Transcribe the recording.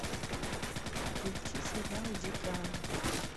включи сериал дикий ангел